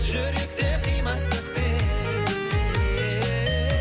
жүректе қимастықпен